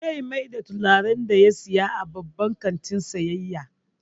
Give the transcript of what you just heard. Zai mayar da turaren da ya saya a babban kantin sayayya.